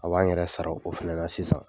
A b'an yɛrɛ sara o fɛnɛ na sisan.